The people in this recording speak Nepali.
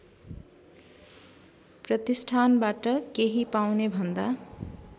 प्रतिष्ठानबाट केही पाउनेभन्दा